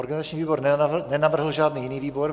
Organizační výbor nenavrhl žádný jiný výbor.